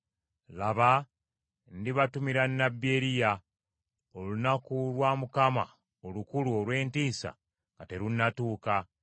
“Laba, ndibatumira nnabbi Eriya, olunaku lwa Mukama olukulu olw’entiisa nga terunnatuuka,